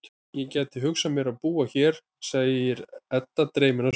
Ég gæti hugsað mér að búa hér, segir Edda dreymin á svip.